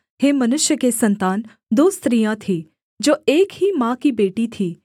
हे मनुष्य के सन्तान दो स्त्रियाँ थी जो एक ही माँ की बेटी थी